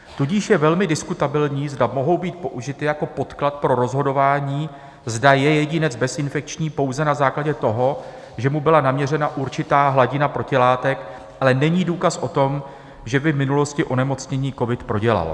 Tudíž je velmi diskutabilní, zda mohou být použity jako podklad pro rozhodování, zda je jedinec bezinfekční pouze na základě toho, že mu byla naměřena určitá hladina protilátek, ale není důkaz o tom, že by v minulosti onemocnění covid prodělal.